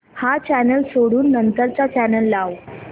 हा चॅनल सोडून नंतर चा चॅनल लाव